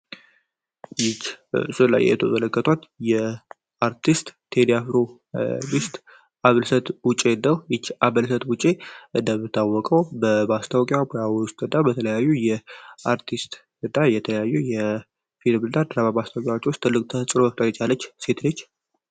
ይች ስል ላይ የቶ ዘለከቷት የአርቲስት ቴሊያፍሮ ቢስት አጭአውጪ ደብታወቀው በባስታውቂ ውስ በተለያዩ የአርቲስት ዕዳ የተለያዩ የፊድብልዳ ድራባ ባስታወቂዎች ውስጥ ትልቅ ተስጽሩ በብጣቂጫ ያለች ሴትሬች